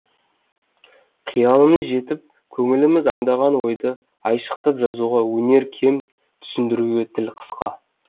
қиялымыз жетіп көңіліміз аңдаған ойды айшықтап жазуға өнер кем түсіндіруге тіл қысқа